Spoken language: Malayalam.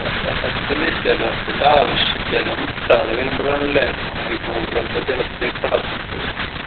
ജലത്തിന് ജലത്തിൻറെ ആവശ്യം ജലം കിട്ടാതെ വരുമ്പളാണല്ലേ നമ്മളീ ഭൂഗർഭ ജലത്തിലേക്ക് കടക്കുന്നത്